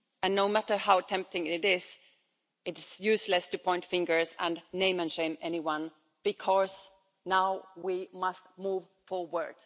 No matter how tempting it is, it is useless to point fingers and name and shame anyone, because now we must move forward.